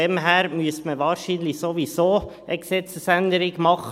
Daher müsste man wahrscheinlich sowieso eine Gesetzesänderung machen.